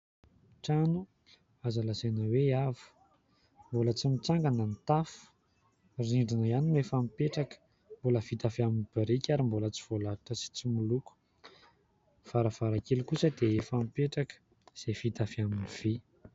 Trano azo lazaina hoe avo. Mbola tsy mitsangana ny tafo; ny rindrina ihany no efa mipetraka, mbola vita avy amin'ny biriky ary mbola tsy voalalitra sy tsy miloko; varavarankely kosa dia efa mipetraka, izay vita avy amin'ny vy.